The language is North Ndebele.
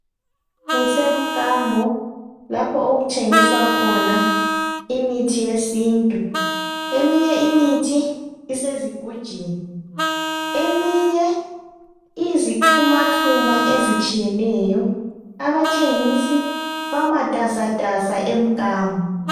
Kusemkambo lapho okuthengiswa khona imithi yesiNtu. Eminye imithi isezigujini eminye iyizixhumaxhuma ezitshiyeneyo abathengisi bamatasatasa emkambo.